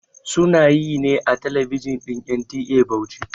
Sunayi ne a talabijin din NTA Bauchi